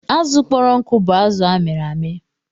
Azụ kpọrọ nkụ bụ azụ amịrị amị.